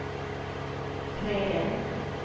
träden